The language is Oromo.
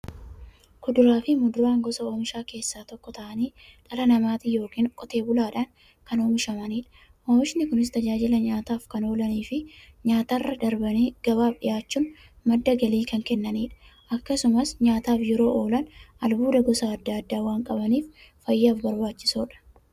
Kuduraafi muduraan gosa oomishaa keessaa tokko ta'anii, dhala namaatin yookiin Qotee bulaadhan kan oomishamaniidha. Oomishni Kunis, tajaajila nyaataf kan oolaniifi nyaatarra darbanii gabaaf dhiyaachuun madda galii kan kennaniidha. Akkasumas nyaataf yeroo oolan, albuuda gosa adda addaa waan qabaniif, fayyaaf barbaachisoodha.